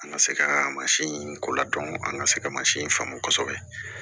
An ka se ka mansin in ko ladɔn an ka se ka mansin in faamu kosɛbɛ